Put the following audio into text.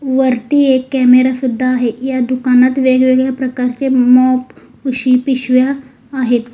वरती एक कॅमेरा सुद्धा आहे या दुकानात वेगवेगळ्या प्रकारचे मॉप उशी पिशव्या आहेत.